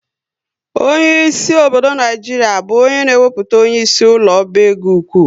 Onyeisi obodo Naijiria bụ onye na ewepụta onyeisi ụlọ oba égo ụkwụ